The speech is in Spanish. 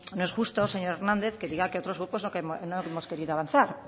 no es justo señor hernández que diga que otros grupos no hemos querido avanzar